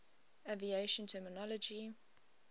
aviation terminology